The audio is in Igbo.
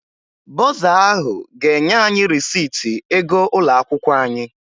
Bọrzà ahụ ga-enye anyị rịsịtị ego ụlọ akwụkwọ anyị.